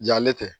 Yan ne tɛ